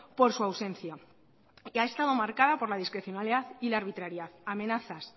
por su ausencia y ha estado marcada por la discrecionalidad y la arbitrariedad amenazas